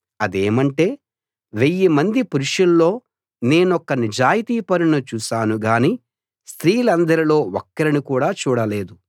అదేమంటే వెయ్యి మంది పురుషుల్లో నేనొక్క నిజాయితీపరుణ్ణి చూశాను గాని స్త్రీలందరిలో ఒక్కరిని కూడా చూడలేదు